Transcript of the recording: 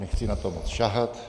Nechci na to moc sahat.